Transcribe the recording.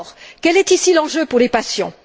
Quel est ici l'enjeu pour les patients?